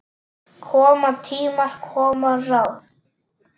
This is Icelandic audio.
Koma tímar, koma ráð.